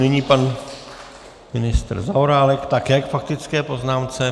Nyní pan ministr Zaorálek, také k faktické poznámce.